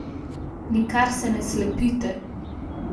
Nikar se ne slepite.